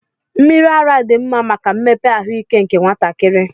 Mmiri ara dị mma maka mmepe ahụike nke nwatakịrị.